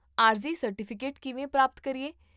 ਆਰਜ਼ੀ ਸਰਟੀਫਿਕੇਟ ਕਿਵੇਂ ਪ੍ਰਾਪਤ ਕਰੀਏ?